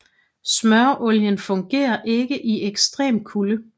Smøreolien fungerede ikke i ekstrem kulde